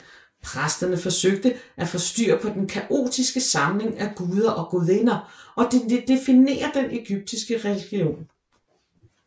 Præsterne forsøger at få styr på den kaotiske samling af guder og gudinder og definerer den egyptiske religion